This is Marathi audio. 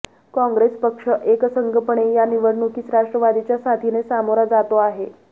काँग्रेस पक्ष एकसंघपणे या निवडणुकीस राष्ट्रवादीच्या साथीने सामोरा जातो आहे